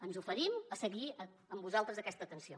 ens oferim a seguir amb vosaltres aquesta atenció